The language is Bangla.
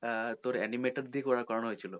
হ্যাঁ তোর animated দিয়ে করানো হয়েছিলো